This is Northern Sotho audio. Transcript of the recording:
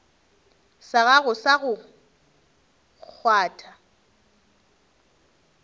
sa gago sa go kgwatha